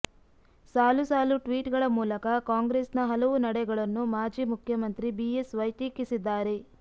ಸಾಲು ಸಾಲು ಟ್ವೀಟ್ ಗಳ ಮೂಲಕ ಕಾಂಗ್ರೆಸ್ ನ ಹಲವು ನಡೆಗಳನ್ನು ಮಾಜಿ ಮುಖ್ಯಮಂತ್ರಿ ಬಿಎಸ್ ವೈ ಟೀಕಿಸಿದ್ದಾರೆ